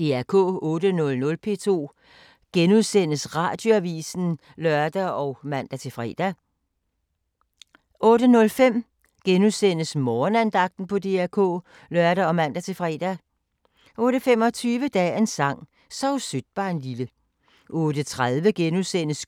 08:00: P2 Radioavis *(lør og man-fre) 08:05: Morgenandagten på DR K *(lør og man-fre) 08:25: Dagens sang: Sov sødt barnlille 08:30: